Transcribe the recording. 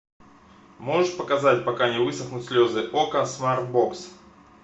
можешь показать пока не высохнут слезы окко смартбокс